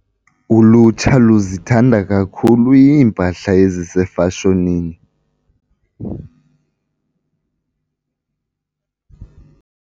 Ulutsha luzithanda kakhulu iimpahla ezisefashonini.